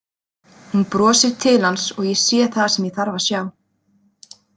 Hún brosir til hans og ég sé það sem ég þarf að sjá.